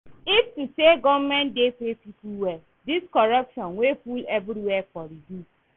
If to say government dey pay people well, dis corruption wey full everywhere for reduce